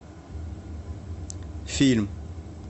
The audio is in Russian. фильм